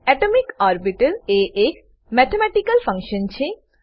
atomic orbital atomic orbital એ એક mathematical function છે